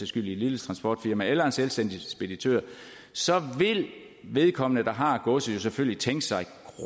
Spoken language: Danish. skyld i et lille transportfirma eller til en selvstændig speditør så vil vedkommende der har godset jo selvfølgelig tænke sig